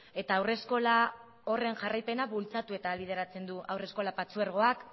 eta haurreskola horren jarraipena bultzatu eta ahalbideratzen du haurreskolak partzuergoak